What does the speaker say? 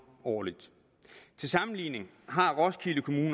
årligt til sammenligning har roskilde kommune